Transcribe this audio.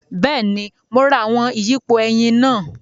Bẹẹni, Mo rá awọn iyipo ẹyin náà